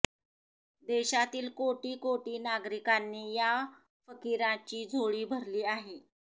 देशातील कोटी कोटी नागरिकांनी या फकिराची झोळी भरली आहे